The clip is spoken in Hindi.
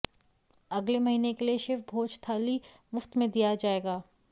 अगले महीने के लिए शिव भोज थली मुफ्त में दिया जाएगा